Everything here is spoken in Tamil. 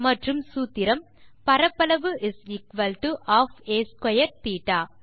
மற்றும் சூத்திரம் பரப்பளவு ½ a2 θ